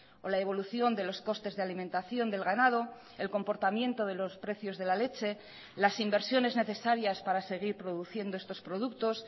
o la evolución de los costes de alimentación del ganado el comportamiento de los precios de la leche las inversiones necesarias para seguir produciendo estos productos